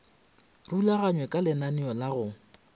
rulaganywe ka lenaneo la go